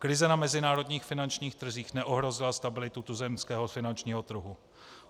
Krize na mezinárodních finančních trzích neohrozila stabilitu tuzemského finančního trhu.